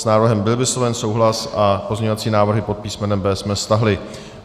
S návrhem byl vysloven souhlas a pozměňovací návrhy pod písmenem B jsme stáhli.